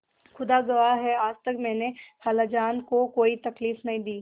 खुदा गवाह है आज तक मैंने खालाजान को कोई तकलीफ नहीं दी